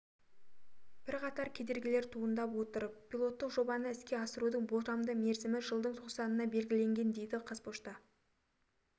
бірқатар кедергілер туындап отыр пилоттық жобаны іске қосудың болжамды мерзімі жылдың тоқсанына белгіленген дейді қазпошта